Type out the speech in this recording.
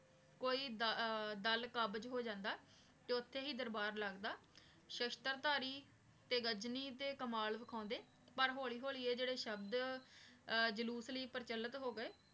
ਕੋਈ ਦਲ ਕਾਬਿਜ਼ ਹੋ ਜਾਂਦਾ ਆਯ ਤੇ ਓਥੇ ਹੀ ਦਰਬਾਰ ਲਗਦਾ ਸ਼ਾਸ਼ਤਰ ਧਾਰੀ ਤੇ ਗਜਨੀ ਤੇ ਕਮਾਲ ਵਿਖਾਂਦੇ ਪਰ ਹੋਲੀ ਹੋਲੀ ਆਯ ਜੇਰੀ ਸ਼ਾਬ੍ਧ ਜਾਲੂਸ ਲੈ ਪਰਚਲਤ ਹੋ ਗਾਯ